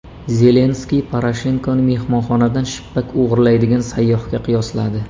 Zelenskiy Poroshenkoni mehmonxonadan shippak o‘g‘irlaydigan sayyohga qiyosladi.